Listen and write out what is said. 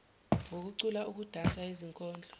ngokucula ukudansa izikondlo